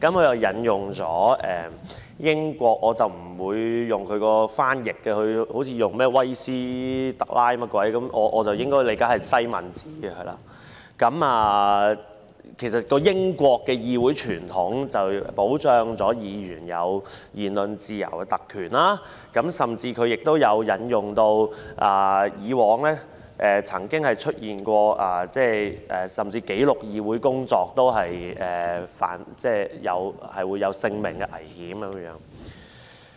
他引用了英國的例子——我不會採用他的翻譯，他好像是說甚麼"威斯特拉"的，但據我理解應該是西敏寺——其實英國的議會傳統，是要保障議員享有言論自由的特權，他甚至舉例說以往曾經出現即使是記錄議會工作也有性命危險的情況。